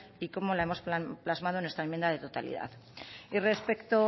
y como la hemos plasmado en nuestra enmienda de totalidad y respecto